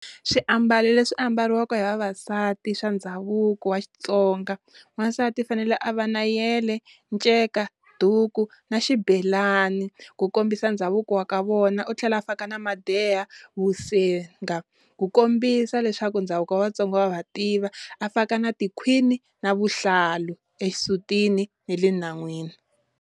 Swiambalo leswi ambariwa hi vavasati swa ndhavuko wa Xitsonga, wansati u fanele a va na yele, nceka, duku na xibelani ku kombisa ndhavuko wa ka vona, u tlhela a faka na madeya, vusenga ku kombisa leswaku ndhavuko wa Vatsonga wa va tiva, a faka na tikhwini na vuhlalu exisutini na le nhan'wini.